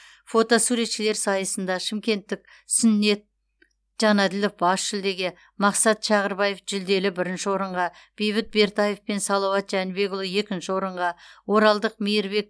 фотосуретшілер сайысында шымкенттік сүннет жанаділов бас жүлдеге мақсат шағырбаев жүлделі бірінші орынға бейбіт бертаев пен салауат жәнібекұлы екінші орынға оралдық мейірбек